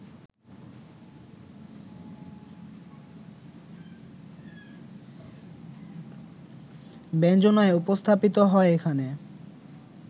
ব্যঞ্জনায় উপস্থাপিত হয় এখানে